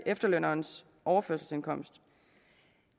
efterlønnerens overførselsindkomst